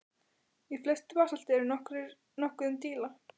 Í flestu basalti er nokkuð um díla.